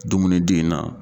Dumuni di in na.